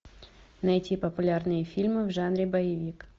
найти популярные фильмы в жанре боевик